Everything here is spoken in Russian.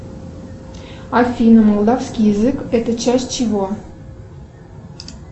афина молдавский язык это часть чего